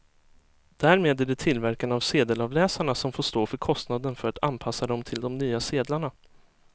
Därmed är det tillverkarna av sedelavläsarna som får stå för kostnaden för att anpassa dem till de nya sedlarna.